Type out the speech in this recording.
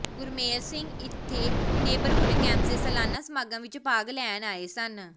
ਗੁਰਮੇਲ ਸਿੰਘ ਇੱਥੇ neighbourhood campus ਦੇ ਸਾਲਾਨਾ ਸਮਾਗਮ ਵਿੱਚ ਭਾਗ ਲੈਣ ਆਏ ਸਨ